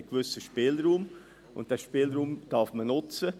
Man hat einen gewissen Spielraum, und diesen Spielraum darf man nutzen.